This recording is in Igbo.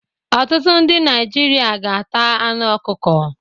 Ọtụtụ ndị Naịjirịa ga-ata anụ ọkụkọ